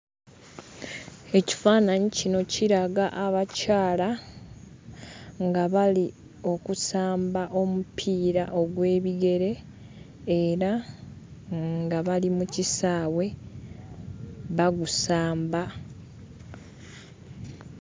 EKifaananyi kino kiraga abakyala nga bali okusamba omupiira ogw'ebigere era nga bali mu kisaawe bagusamba.